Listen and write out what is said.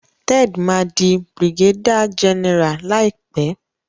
Ted má dì brigadier general láìpé.